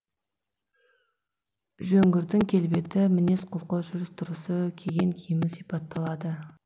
жөңгірдің келбеті мінез құлқы жүріс тұрысы киген киімі сипатталады